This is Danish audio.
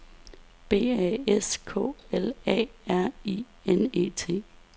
B A S K L A R I N E T